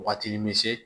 Waagati bɛ se